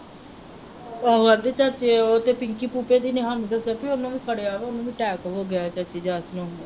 ਉਹ ਕਹਿੰਦੀ ਚਾਚੀ ਉਹ ਤੇ ਪਿੰਕੀ ਦੀ ਨਿਹੰਗ ਉਹਨੂੰ ਵੀ ਫੜਿਆ ਵਾ, ਉਹਨੂੰ attack ਹੋ ਗਿਆ ਚਾਚੀ ਰਾਤ ਨੂੰ